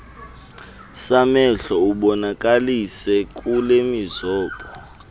samehlo ubonakalise kulemizobo